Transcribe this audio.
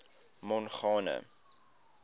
mongane